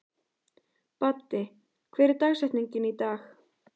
Baddi, hver er dagsetningin í dag?